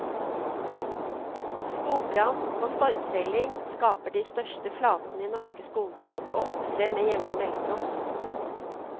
Skogbrann og stormfelling skaper de største flatene i norske skoger, og opptrer med jevne mellomrom.